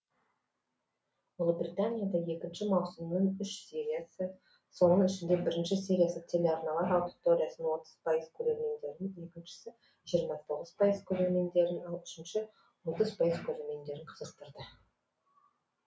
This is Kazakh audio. ұлыбританияда екінші маусымның үш сериясы соның ішінде бірінші сериясы телеарналар аудиториясының отыз пайыз көрермендерін екіншісі жиырма тоғыз пайыз көрермендерін ал үшінші отыз пайыз көрермендерін қызықтырды